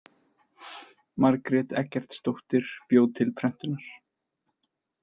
Margrét Eggertsdóttir bjó til prentunar.